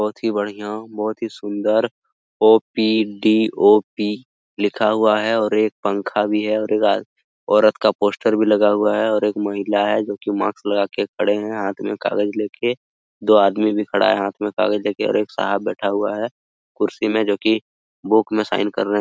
बहोत ही बढ़ियां बहोत ही सुन्दर ओपीडीओपी लिखा हुआ है और एक पंखा भी है और औरत का पोस्टर भी लगा हुआ है और एक महिला है जोकि मास्क लगाके खड़े हैं हाथ में कागज लेके दो आदमी भी खड़ा है हाथ में कागज लेके और एक साहब बैठा हुआ हैकुर्सी में जोकि बुक में साइन करने --